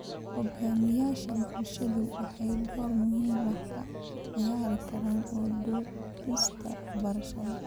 Hogaamiyayaasha bulshadu waxay door muhiim ah ka ciyaari karaan u doodista waxbarashada.